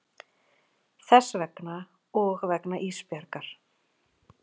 Þess vegna og vegna Ísbjargar.